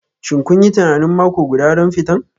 Shin kun yi tunanin mako guda don fitan?